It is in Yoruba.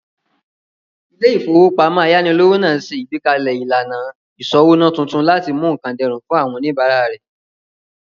Ilé-ìfowópamọ́sí ayánilówó náà ṣe ìgbékalẹ̀ ìlànà ìsọ́wóná tuntun láti mú nkán dẹrùn fún àwọn oníbàárà rẹ̀